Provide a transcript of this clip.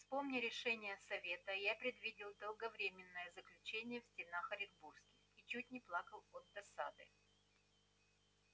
вспомня решение совета я предвидел долговременное заключение в стенах оренбургских и чуть не плакал от досады